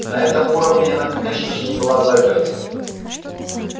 на этом уровне она конечно же не была заперта